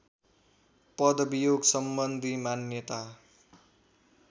पदवियोग सम्बन्धी मान्यता